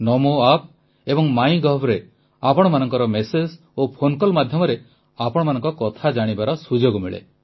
ନମୋ app ଏବଂ ମାଇଗଭ୍ରେ ଆପଣମାନଙ୍କ ମେସେଜ ଓ ଫୋନ କଲ୍ ମାଧ୍ୟମରେ ଆପଣମାନଙ୍କ କଥା ଜାଣିବାର ସୁଯୋଗ ମିଳେ